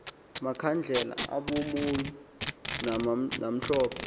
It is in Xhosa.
makhandlela abomou namhlophe